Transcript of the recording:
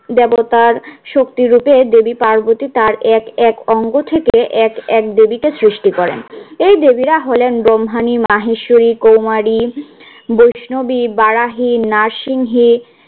দেবতার শক্তিরূপে দেবী পার্বতী তার এক এক অঙ্গ থেকে এক এক দেবীকে সৃষ্টি করেন। এই দেবীরা হলেন ব্রহ্মানি মাহেশ্বরী কৌমারী বৈষ্ণবী বারাহি নারসিংহী